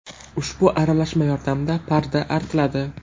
Ushbu aralashma yordamida parda artiladi.